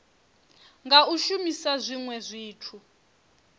nga u shumisa zwinwe zwithu